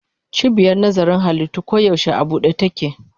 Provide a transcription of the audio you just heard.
Cibiyar nazarin halittu koyaushe a buɗe take.